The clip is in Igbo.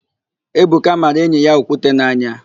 Ebuka mara enyi ya okwute n'anya.